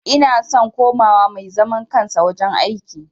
Ina son kowa ma mai zaman kansa wajen aiki